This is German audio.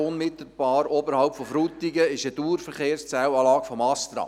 Unmittelbar oberhalb von Frutigen befindet sich eine Dauerverkehrszählanlage des ASTRA.